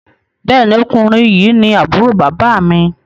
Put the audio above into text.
Béèni Ọkùnrin yi ní Àbúrò bàbá mi.